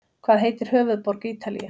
Hvað heitir höfuðborg Ítalíu?